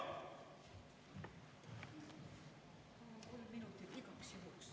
Palun kolm minutit igaks juhuks.